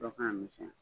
Dɔ k'a misɛnya